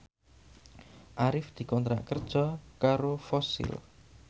Arif dikontrak kerja karo Fossil